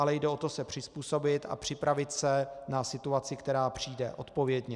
Ale jde o to se přizpůsobit a připravit se na situaci, která přijde, odpovědně.